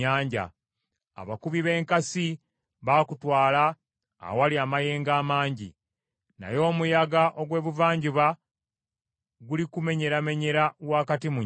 Abakubi b’enkasi bakutwala awali amayengo amangi. Naye omuyaga ogw’Ebuvanjuba gulikumenyeramenyera wakati mu nnyanja.